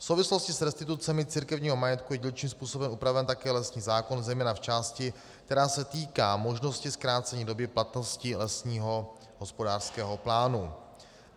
V souvislosti s restitucemi církevního majetku je dílčím způsobem upraven také lesní zákon, zejména v části, která se týká možnosti zkrácení doby platnosti lesního hospodářského plánu.